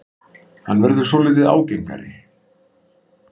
Hann verður svolítið ágengari.